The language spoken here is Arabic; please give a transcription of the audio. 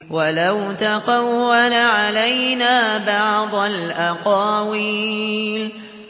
وَلَوْ تَقَوَّلَ عَلَيْنَا بَعْضَ الْأَقَاوِيلِ